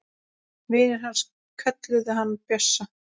Vinir hans kölluðu hann Bjössa.